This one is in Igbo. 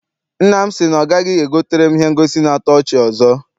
Nna m si na ọ gaghị egotere m ihe ngosi na-ato ọchị ọzọ.